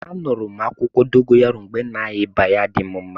A nụrụ m akwukwo dogoyaro mgbe na arịa ịba ya-adi m mma.